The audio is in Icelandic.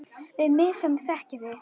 Við mig sem þekki þig.